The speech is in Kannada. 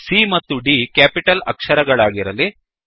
C ಮತ್ತು D ಕ್ಯಾಪಿಟಲ್ ಅಕ್ಷರಗಳಾಗಿರಲಿ